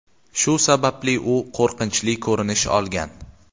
Shu sababli u qo‘rqinchli ko‘rinish olgan.